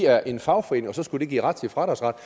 er en fagforening og så skulle det give fradragsret